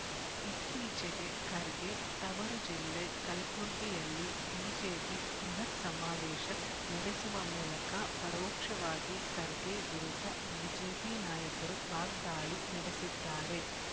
ಇತ್ತೀಚೆಗೆ ಖರ್ಗೆ ತವರು ಜಿಲ್ಲೆ ಕಲಬುರ್ಗಿಯಲ್ಲಿ ಬಿಜೆಪಿ ಬೃಹತ್ ಸಮಾವೇಶ ನಡೆಸುವ ಮೂಲಕ ಪರೋಕ್ಷವಾಗಿ ಖರ್ಗೆ ವಿರುದ್ಧ ಬಿಜೆಪಿ ನಾಯಕರು ವಾಗ್ದಾಳಿ ನಡೆಸಿದ್ದಾರೆ